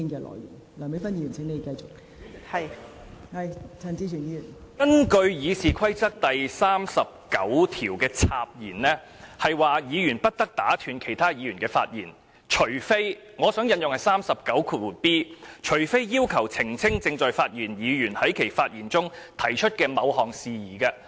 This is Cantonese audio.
代理主席，根據《議事規則》第39條的"插言"，是指議員不得打斷其他議員的發言，除非......我想引用第 39b 條，"除非要求澄清正在發言的議員在其發言中提出的某項事宜"。